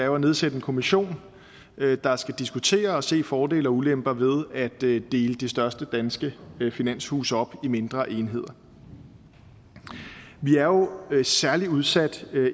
jo at nedsætte en kommission der skal diskutere og se fordele og ulemper ved at dele de største danske finanshuse op i mindre enheder vi er jo særlig udsat